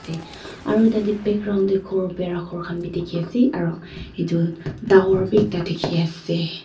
te aro tate background de ghor pera ghor kan b diki ase aro etu tower b ekta diki ase.